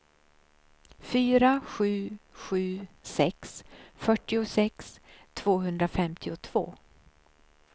fyra sju sju sex fyrtiosex tvåhundrafemtiotvå